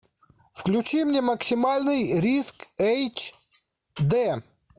включи мне максимальный риск эйч д